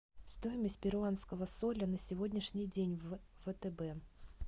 стоимость перуанского соля на сегодняшний день в втб